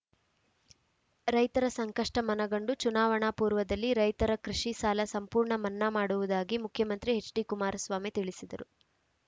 ರೈತರ ಸಂಕಷ್ಟಮನಗಂಡು ಚುನಾವಣಾ ಪೂರ್ವದಲ್ಲಿ ರೈತರ ಕೃಷಿ ಸಾಲ ಸಂಪೂರ್ಣ ಮನ್ನಾ ಮಾಡುವುದಾಗಿ ಮುಖ್ಯಮಂತ್ರಿ ಎಚ್‌ಡಿ ಕುಮಾರಸ್ವಾಮಿ ತಿಳಿಸಿದ್ದರು